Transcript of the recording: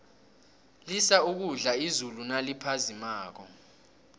lisa ukudla izulu naliphazimako